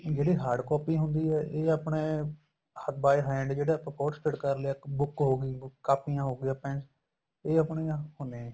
ਜਿਹੜੇ hard copy ਹੁੰਦੀ ਏ ਇਹ ਆਪਣੇ by hand ਜਿਹੜਾ ਆਪਾਂ photo state ਕਰ ਲਿਆ book ਹੋ ਗਈ ਕਾਪੀਆਂ ਹੋ ਗਈਆਂ pens ਇਹ ਆਪਣੀਆਂ ਹੁੰਨੇ ਏ